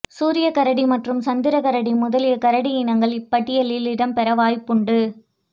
சூரியக் கரடி மற்றும் சந்திரக் கரடி முதலிய கரடி இனங்களும் இப்பட்டியலில் இடம்பெற வாய்ப்புண்டு